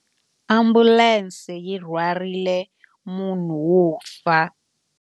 Ambulense yi rhwarile munhu wo fa.